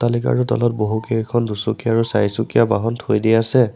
Like আৰু তলত বহুকেইখন দুচকীয়া আৰু চাৰিচুকীয়া বাহন থৈ দিয়া আছে।